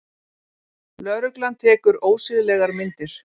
Lögregla tekur ósiðlegar myndir